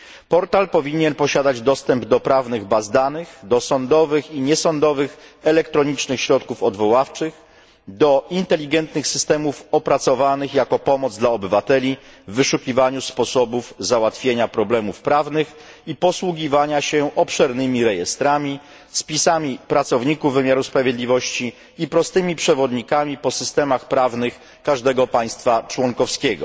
Portal powinien posiadać dostęp do prawnych baz danych, do sądowych i niesądowych elektronicznych środków odwoławczych, do inteligentnych systemów opracowanych jako pomoc dla obywateli w wyszukiwaniu sposobów załatwienia problemów prawnych i posługiwania się obszernymi rejestrami, spisami pracowników wymiaru sprawiedliwości i prostymi przewodnikami po systemach prawnych każdego państwa członkowskiego.